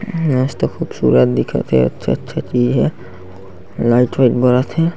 मस्त खूबसूरत दिखत हे अच्छा-अच्छा चीज हे लाइट वाइट बरत हे।